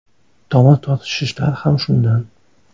Tomir tortishishlar ham shundan.